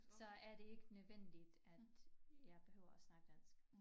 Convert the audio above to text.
Så er det ikke nødvendigt at jeg behøver at snakke dansk